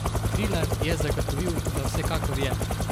Trilar je zagotovil, da vsekakor je.